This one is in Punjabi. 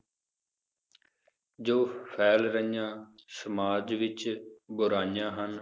ਜੋ ਫੈਲ ਰਹੀਆਂ ਸਮਾਜ ਵਿਚ ਬੁਰਾਈਆਂ ਹਨ